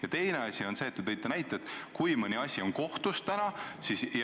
Ja teine asi on see, et te ütlesite, et kui mõni asi on praegu kohtus, siis see läheb edasi.